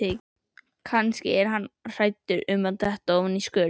Kannski er hann hræddur um að detta ofan í skurð.